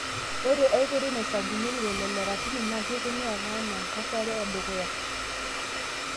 Ore ekeitoi naisampunyeki lelo Le ratuni, naa keikununuy ake anaa enkesare edukuya.